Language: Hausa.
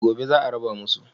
Gobe za a raba musu.